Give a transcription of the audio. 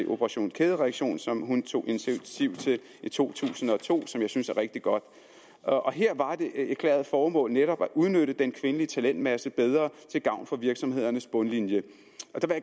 operation kædereaktion som hun tog initiativ til i to tusind og to og som jeg synes er rigtig godt og her var det erklærede formål netop at udnytte den kvindelige talentmasse bedre til gavn for virksomhedernes bundlinje